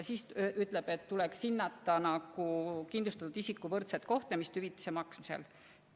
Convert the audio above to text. Ta ütles, et tuleks hinnata kindlustatud isikute võrdset kohtlemist hüvitise maksmisel.